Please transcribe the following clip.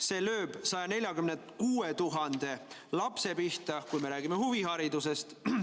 See lööb 146 000 lapse pihta, kui me räägime huviharidusest.